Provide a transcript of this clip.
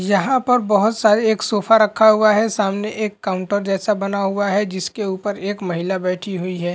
यहाँ पर बहोत सारे एक सोफा रखा हुआ है। सामने एक काउंटर जैसा बना हुआ है जिसके ऊपर एक ऊपर महिला बैठी हुई है।